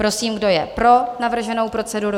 Prosím, kdo je pro navrženou proceduru?